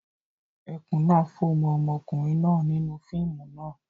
Ẹkùn náa fó mọ́ ọmọkùnrin náà nínú fíìmù náà.